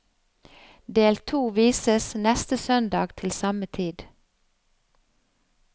Del to vises neste søndag til samme tid.